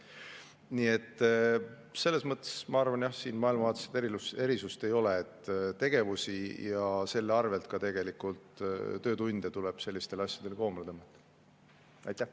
Nii et selles mõttes ma arvan jah, et siin maailmavaatelist erisust ei ole, tegevusi ja selle arvel töötunde tuleb selliste asjade koomale tõmmata.